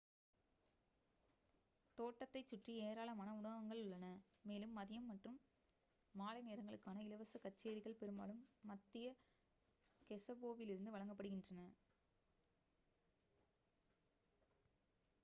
தோட்டத்தைச் சுற்றி ஏராளமான உணவகங்கள் உள்ளன மேலும் மதியம் மற்றும் மாலை நேரங்களுக்கான இலவச கச்சேரிகள் பெரும்பாலும் மத்திய கெஸெபோவிலிருந்து வழங்கப்படுகின்றன